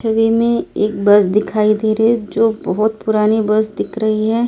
छवि मैं एक बस दिखाई दे रही है जो बहोत पुरानी बस दिख रही हैं।